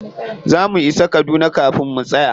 Za mu isa kaduna kafin mu tsaya.